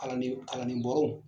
Kalanden kalanden bɔrɔw